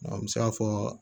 an bɛ se ka fɔ